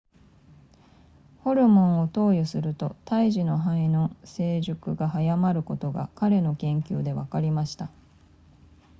ホルモンを投与すると胎児の肺の成熟が早まることが彼の研究でわかりました